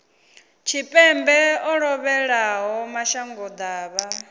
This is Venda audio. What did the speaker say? tshipembe o lovhelaho mashango ḓavha